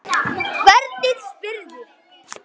Hvernig spyrðu!